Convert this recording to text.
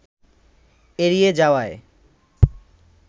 এড়িয়ে যাওয়ায়